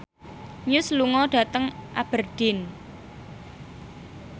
Muse lunga dhateng Aberdeen